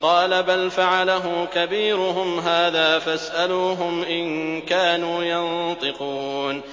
قَالَ بَلْ فَعَلَهُ كَبِيرُهُمْ هَٰذَا فَاسْأَلُوهُمْ إِن كَانُوا يَنطِقُونَ